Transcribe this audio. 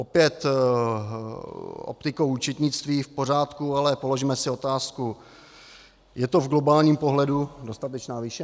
Opět optikou účetnictví v pořádku, ale položme si otázku - je to v globálním pohledu dostatečná výše?